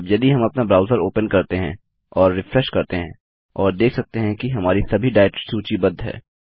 अब यदि हम अपना ब्राउज़र ओपन करते हैं और रिफ्रेश करते हैं और देख सकते हैं कि हमारी सभी डाइरेक्टरी सूचीबद्ध हैं